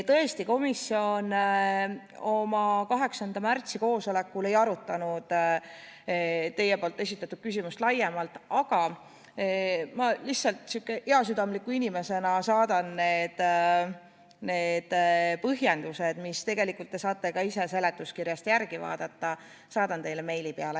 Tõesti, komisjon oma 8. aprilli koosolekul ei arutanud teie esitatud küsimust laiemalt, aga ma heasüdamliku inimesena saadan need põhjendused, mida te tegelikult saate ka ise seletuskirjast järele vaadata, teile meili peale.